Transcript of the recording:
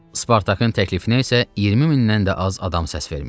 Spartakın təklifinə isə 20 mindən də az adam səs vermişdi.